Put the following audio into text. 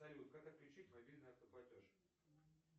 салют как отключить мобильный автоплатеж